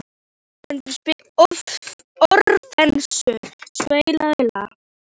Orfeus, spilaðu lag.